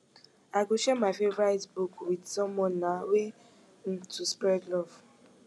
i go share my favorite book with someone na way um to spread love